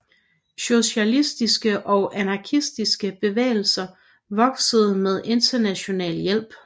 Socialistiske og anarkistiske bevægelser voksede med Internationalens hjælp